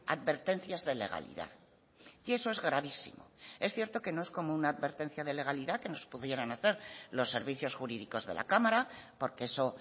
advertencias de legalidad y eso es gravísimo es cierto que no es como una advertencia de legalidad que nos pudieran hacer los servicios jurídicos de la cámara porque eso